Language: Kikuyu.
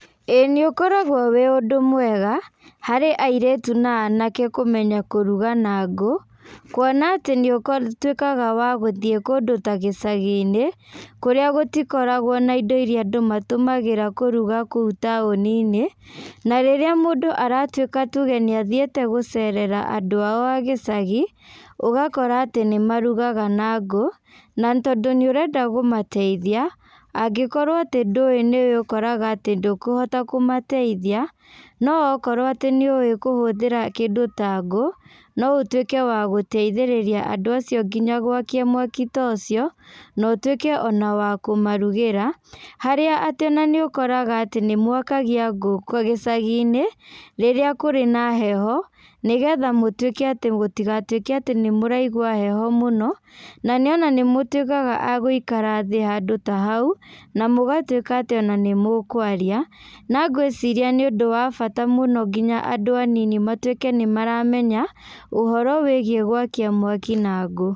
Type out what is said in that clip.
Ĩĩ nĩũkoragwo wĩ ũndũ mwega, harĩ airĩtu na anake kũmenya kũruga na ngũ, kuona atĩ nĩũko tuĩkaga wa gũthiĩ kũndũ ta gĩcaginĩ, kũrĩa gũtikoragwo na indo iria andũ matũmagĩra kũruga kũu taũninĩ, na rĩrĩa mũndũ aratuĩka tuge nĩathiĩte gũcerera andũ ao a gĩcagi, ũgakora atĩ nĩmarugaga na ngũ, na tondũ nĩũrenda kũmateithia, angĩkorwo atĩ ndũĩ nĩũkoraga atĩ ndũkũhota kũmateithia, no wakorwo atĩ nĩũĩ kũhũthĩra kĩndũ ta ngũ, no ũtuĩke wa gũteithĩrĩria andũ acio nginya gwakia mwaki ta ũcio, na ũtuĩke ona wa kũmarugĩra, harĩa atĩ ona nĩũkoraga atĩ nĩmwakagia ngũ gĩcaginĩ, rĩrĩa kũrĩ na heho, nĩgetha mũtuĩke atĩ gũtigatuĩke atĩ nĩmũraigwa heho mũno, na nĩaona nĩmũtuĩkaga a gũikara thĩ handũ ta haũ, na mũgatuĩka atĩ ona nĩmũkwaria, na ngwaciria nĩũndũ wa bata mũno nginya andũ anini matuĩke nĩmaramenya, ũhoro wĩgiĩ gwakia mwaki na ngũ.